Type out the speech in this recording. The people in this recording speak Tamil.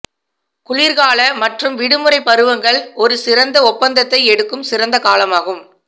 குளிர்கால மற்றும் விடுமுறை பருவங்கள் ஒரு சிறந்த ஒப்பந்தத்தை எடுக்கும் சிறந்த காலமாகும்